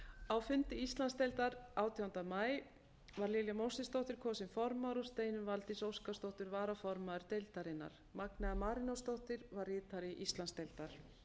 á fundi íslandsdeildar átjánda maí var lilja mósesdóttir kosin formaður og steinunn valdís óskarsdóttir varaformaður deildarinnar magnea marinósdóttir var ritari íslandsdeildar